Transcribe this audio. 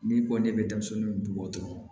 N'i ko ne bɛ denmisɛnninw bugɔ dɔrɔn